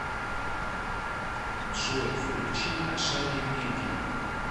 джой включи ашари медиа